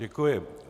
Děkuji.